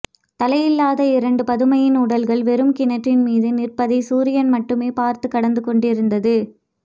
தலையில்லாத இரண்டு பதுமையின் உடல்கள் வெறும் கிணற்றின் மீது நிற்பதைச் சூரியன் மட்டுமே பார்த்துக் கடந்து கொண்டிருந்தது